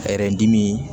dimi